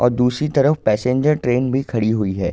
और दूसरी तरफ पैसेंजर ट्रेन भी खड़ी हुई है।